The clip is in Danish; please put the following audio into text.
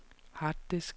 harddisk